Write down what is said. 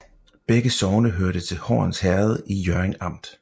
Begge sogne hørte til Horns Herred i Hjørring Amt